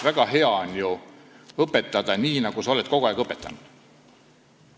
Väga hea on ju õpetada nii, nagu sa oled kogu aeg õpetanud.